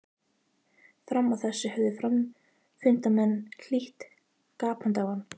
Fram að þessu höfðu fundarmenn hlýtt gapandi á ræðu Jóns.